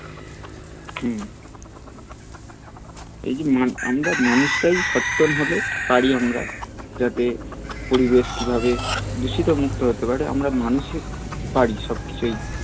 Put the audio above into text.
হম এই যে আমরা মানুষরাই সচেতন হলে পারি আমরা যাতে পরিবেশ কিভাবে দূষিত মুক্ত হতে পারে আমরা মানুষই পারি সবকিছু এই